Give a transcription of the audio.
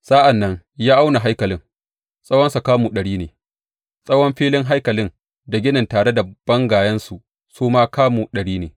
Sa’an nan ya auna haikalin; tsawonsa kamu ɗari ne, tsawon filin haikalin da ginin tare da bangayensa su ma kamu ɗari ne.